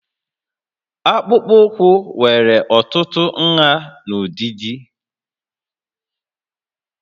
Akpụkpọ ụkwụ nwere n'ọtụtụ nhà na ụdịdị